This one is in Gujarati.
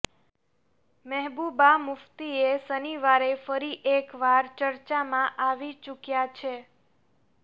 મહેબુબા મુફ્તીએ શનિવારે ફરી એકવાર ચર્ચામાં આવી ચુક્યા છે